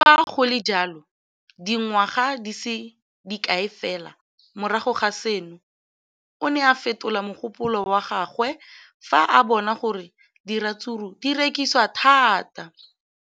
Le fa go le jalo, dingwaga di se kae fela morago ga seno, o ne a fetola mogopolo wa gagwe fa a bona gore diratsuru di rekisiwa thata.